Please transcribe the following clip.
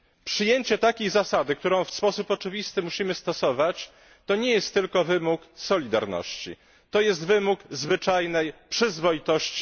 Przyjęcie takiej zasady, którą w sposób oczywisty musimy stosować, to nie jest tylko wymóg solidarności, to jest wymóg zwyczajnej przyzwoitości.